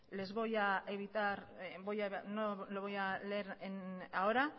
no lo voy a leer ahora